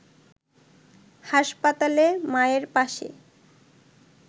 হাসপাতালে মায়ের পাশে